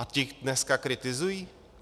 A ti dneska kritizují?